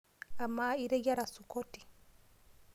Amaa iteyiera sukoti?